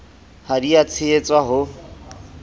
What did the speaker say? ha di a tshehetswa ho